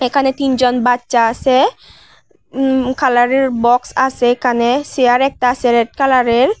এখানে তিনজন বাচ্চা আছে উম-কালারের বক্স আছে এখানে চেয়ার একটা আছে রেড কালারের।